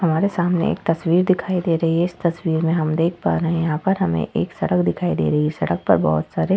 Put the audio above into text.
हमारे सामने एक तस्वीर दिखाई दे रही है। इस तस्वीर में हम देख पा रहे है यहाँ पर हमे एक सड़क दिखाई दे रही है। सड़क पर बोहोत सारे--